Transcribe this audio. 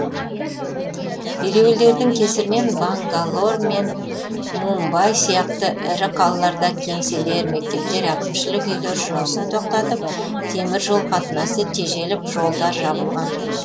ереуілдердің кесірінен бангалор мен мумбай сияқты ірі қалаларда кеңселер мектептер әкімшілік үйлер жұмысын тоқтатып темір жол қатынасы тежеліп жолдар жабылған